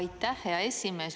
Aitäh, hea esimees!